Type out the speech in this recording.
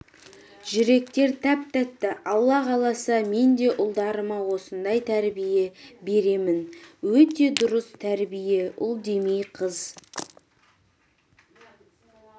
жүректер тәп-тәтті алла қаласа мен де ұлдарыма осындай тәрбие беремін өте дұрыс тәрбие ұл демей қыз